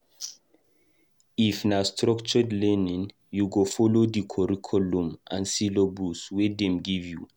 If na structured learning, you go folo di curriculum and syllabus wey dem give.